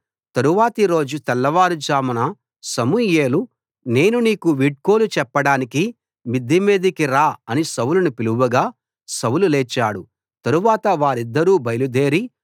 తరువాతి రోజు తెల్లవారుజామున సమూయేలు నేను నీకు వీడ్కోలు చెప్పడానికి మిద్దెమీదికి రా అని సౌలును పిలవగా సౌలు లేచాడు తరువాత వారిద్దరూ బయలుదేరి